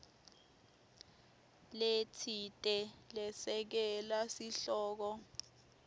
letsite lesekela sihloko